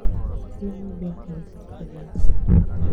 Nĩ nyendete indo njega